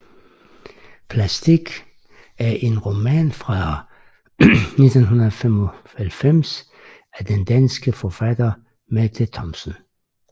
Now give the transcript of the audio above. Plastic er en roman fra 1995 af den danske forfatter Mette Thomsen